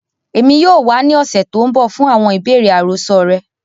Èmi yoo wa ni ọ̀ṣẹ̀ to nbọ fún àwọn ibeere àròsọ rẹ.